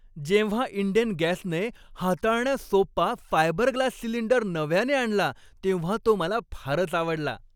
जेव्हा इंडेन गॅसने हाताळण्यास सोपा फायबरग्लास सिलिंडर नव्याने आणला तेव्हा तो मला फारच आवडला.